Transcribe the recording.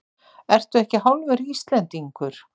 Ertu ekki hálfur Íslendingur?